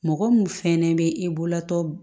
Mɔgɔ mun fɛnɛ bɛ e bololatɔ